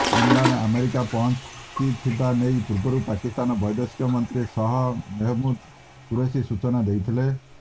Imran America ପହଞ୍ଚିଥିବା ନେଇ ପୂର୍ବରୁ ପାକିସ୍ତାନ ବୈଦେଶିକ ମନ୍ତ୍ରୀ ଶାହ ମେହମୁଦ କୁରେଶୀ ସୂଚନା ଦେଇଥିଲେ